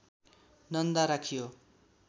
नन्दा राखियो